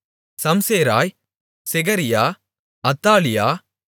சம்சேராய் செகரியா அத்தாலியா